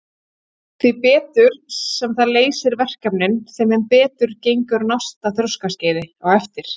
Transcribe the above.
Því betur sem það leysir verkefnin þeim mun betur gengur á næsta þroskaskeiði á eftir.